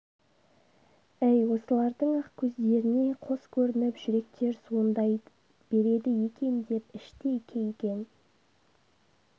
әй осылардың-ақ көздеріне қос көрініп жүректер суылдай береді екен деп іштей кейген